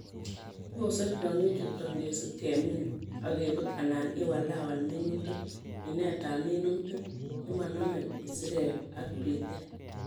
Kibose Tiong'ik chuton ngesib kemin ok kebut alan iwalawal minutik, minetab minutik chemonomeisirek ak bitet.